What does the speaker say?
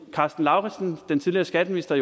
karsten lauritzen den tidligere skatteminister